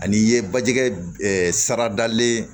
Ani i ye baji kɛ saradalen